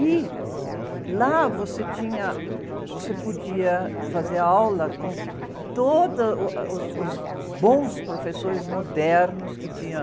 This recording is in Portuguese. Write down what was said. E lá você tinha, você podia fazer aula com toda, uh, ah, os, os bons professores modernos que tinha